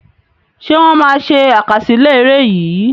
Ṣé wọn má ṣe àkásílẹ́ ère yìí?